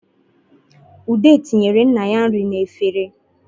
Ude tinyere nna ya nri n'efere